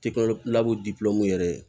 yɛrɛ ye